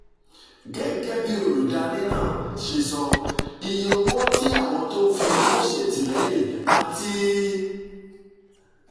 gẹ́gẹ́ bí olùdarí náà ṣe sọ iye owó tí àwọn tó ń fi owó ṣètìlẹ́yìn àti